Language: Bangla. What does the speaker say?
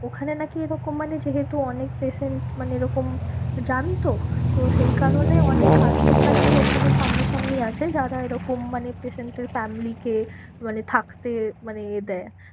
ওখানে নাকি এরকম মানে যেহেতু অনেক patient মানে এরকম যান তো, তো সেই কারণে অনেক আশ্রম নাকি ওখানে সামনা সামনি আছে যারা এরকম মানে patient এর family কে মানে থাকতে মানে দেয়।